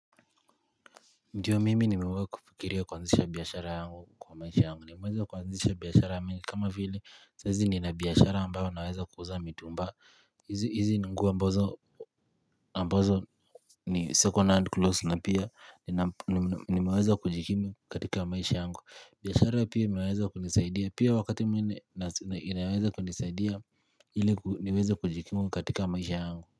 Ndiyo mimi nimewahi kufikiria kuanzisha biashara yangu kwa maisha yangu. Nimeweza kuanzisha biashara mingi kama vile saa hizi nina biashara ambayo naweza kuuza mitumba. Hizi ni nguo ambazo ni second hand clothes na pia nimiweza kujikimu katika maisha yangu. Biashara pia imeweza kunisaidia pia wakati mimi ni, inaweza kunisaidia ili niweza kujikimu katika maisha yangu.